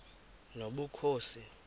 nobukhosi